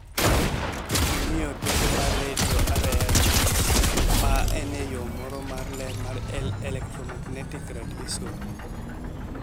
Gimiyo teko mar redio (RF), ma en yo moro mar ler mar electromagnetic radiation.